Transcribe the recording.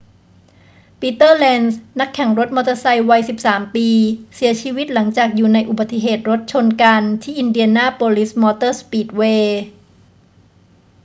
ปีเตอร์ เลนซ์ นักแข่งรถมอเตอร์ไซค์วัย 13 ปี เสียชีวิตหลังจากอยู่ในอุบัติเหตุรถชนกันที่อินเดียนาโปลิสมอเตอร์สปีดเวย์